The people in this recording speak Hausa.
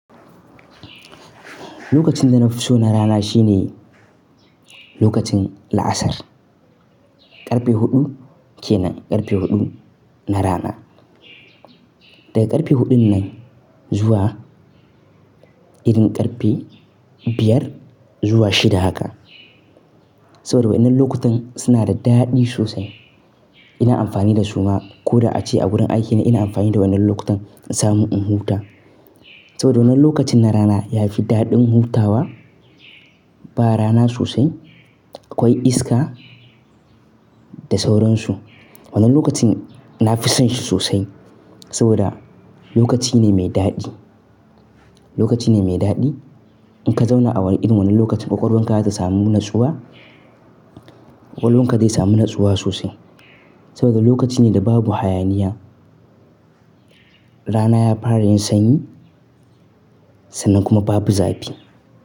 Lokacin da na fi so na rana shine lokacin la'asar. Karfe huɗu kenan, karfe huɗu na rana. Daga karfe huɗun nan zuwa irin karfe biyar zuwa shida haka. Saboda wannan lokutan suna da daɗi sosai. Ina amfani da suma ko da ace a wurin aikina ina amfani da wannan lokutan in sami in huta. Saboda wannan lokacin na rana yafi daɗin hutawa ba rana sosai, akwai iska da sauransu. Wannan lokacin na fi son shi sosai saboda lokaci ne mai daɗi, lokaci ne mai daɗi. In ka zauna a wurin irin wannan lokacin ƙwaƙwalwar ka zata samu natsuwa, ƙwaƙwalwar ka zai samu natsuwa sosai. Saboda lokaci ne da babu hayaniya, rana ya fara yin sanyi sannan kuma babu zafi.